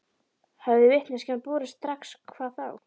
Hefði vitneskjan borist strax hvað þá?